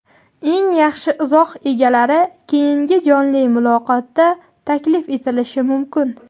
eng yaxshi izoh egalari keyingi jonli muloqotga taklif etilishi mumkin.